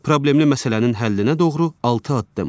Problemli məsələnin həllinə doğru altı addım.